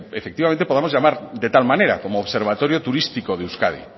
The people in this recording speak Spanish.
efectivamente podamos llamar de tal manera como observatorio turístico de euskadi